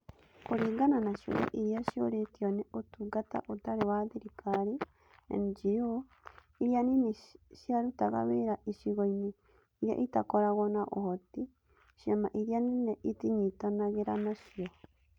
Kũringana na ciũria iria ciorĩtio nĩ Ũtungata Ũtarĩ wa Thirikari (NGO) iria nini ciarutaga wĩra icigo-inĩ iria itakoragwo na ũhoti, ciama iria nene itinyitanagĩra nacio